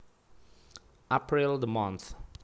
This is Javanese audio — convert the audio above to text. April the month